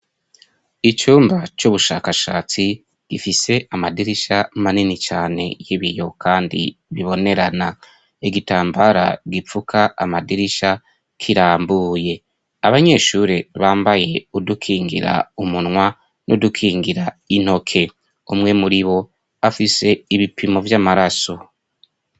Icumba c'ubushakashatsi gifise amadirisha manini cane y'ibiyo kandi bibonerana, igitambara gipfuka amadirisha kirambuye, abanyeshuri bambaye udukingira umunwa n'udukingira intoke, umwe muri bo afise ibipimo vy'amaraso.